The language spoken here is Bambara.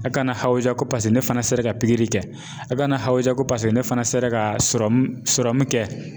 A kana hawuja ko paseke ne fana sera ka pikiri kɛ a kana hawuja ko paseke ne fana sera ka sɔrɔmu sɔrɔmu kɛ.